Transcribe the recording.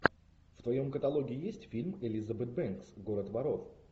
в твоем каталоге есть фильм элизабет бэнкс город воров